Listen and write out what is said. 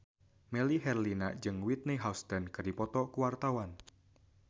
Melly Herlina jeung Whitney Houston keur dipoto ku wartawan